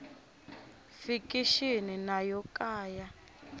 fikixini na yo ka ya